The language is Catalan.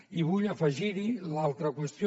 i vull afegir hi l’altra qüestió